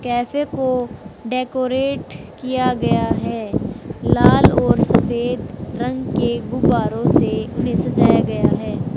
Cafe को decorate किया गया है लाल और सफेद रंग के गुब्बारों से उन्हें सजाया गया है।